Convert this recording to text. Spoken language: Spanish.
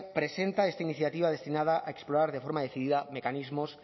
presenta esta iniciativa destinada a explorar de forma decidida mecanismos